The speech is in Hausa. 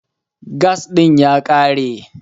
Gas ɗin ya ƙare.